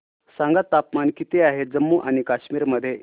सांगा तापमान किती आहे जम्मू आणि कश्मीर मध्ये